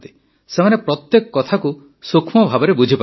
ସେମାନେ ପ୍ରତ୍ୟେକ କଥାକୁ ସୂକ୍ଷ୍ମ ଭାବେ ବୁଝିପାରନ୍ତି